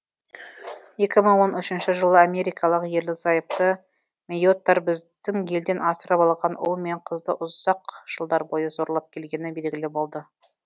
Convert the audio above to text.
екі мың он үшінші жылы америкалық ерлі зайыпты мэйоттар біздің елден асырап алған ұл мен қызды ұзақ жылдар бойы зорлап келгені белгілі болды